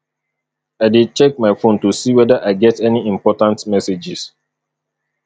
i dey check my phone to see whether i get any important messages